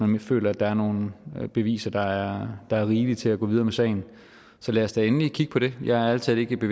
man føler at der er nogle beviser der er rigelige til at gå videre med sagen så lad os da endelig kigge på det jeg er ærlig talt ikke